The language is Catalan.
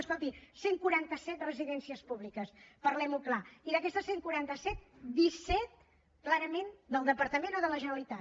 escolti cent i quaranta set residències públiques parlem ho clar i d’aquestes cent i quaranta set disset clarament del departament o de la generalitat